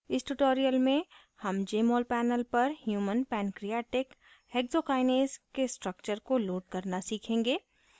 इस tutorial में human jmol panel पर human pancreatic hexokinase के structure को load करना सीखेंगे